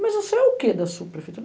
Mas você é o quê da subprefeitura?